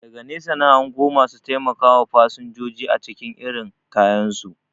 Daga nesa na hango masu taimakawa fasanjoji acikin irin kayansu